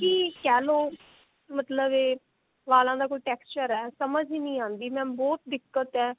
ਹੀ ਕਹਿਲੋ ਮਤਲਬ ਇਹ ਵਾਲਾਂ ਦਾ ਕੋਈ texture ਹੈ ਸਮਝ ਵੀ ਨਹੀਂ ਆਉਂਦੀ mam ਬਹੁਤ ਦਿੱਕਤ ਹੈ